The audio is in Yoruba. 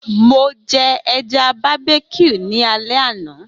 Mo jẹ ẹja barbeque ni alẹ ana.